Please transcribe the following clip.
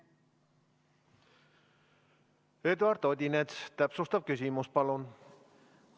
Eduard Odinets, täpsustav küsimus, palun!